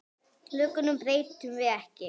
Lögunum breytum við ekki.